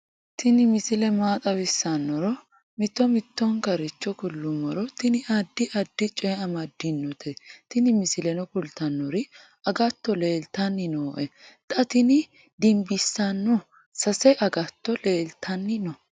tini misile maa xawissannoro mito mittonkaricho kulummoro tini addi addicoy amaddinote tini misileno kultannori agatto leeltanni nooe xa tini dimbissanno sase agatto leeltanni no